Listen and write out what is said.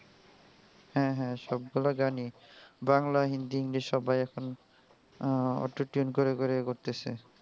হ্যাঁ হ্যাঁ সবগুলা গানই বাংলা হিন্দি enlish সবাই এখন আহ autotune করে করে করতেসে.